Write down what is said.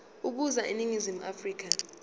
ukuza eningizimu afrika